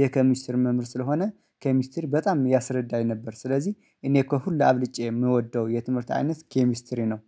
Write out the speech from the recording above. የኬሚስትሪ መምር ስለሆነ ኬሚስትሪ በጣም ያስረዳኝ ነበር ስለዚህ እኔ እኮ ሁሉ አብልጬ የምወደው የትምህርት አይነት ኬሚስትሪ ነው